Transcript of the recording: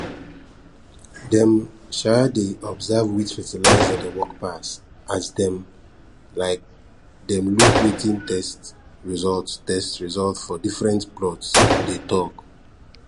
dem um dey observe which fertilizer dey work pass as dem um dem look wetin test result test result for different plots dey tok